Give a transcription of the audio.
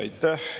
Aitäh!